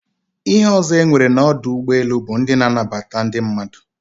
Ihe ozo enwere na odu ugboelu but ndi na-anabata ndi mmadu